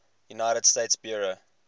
united states bureau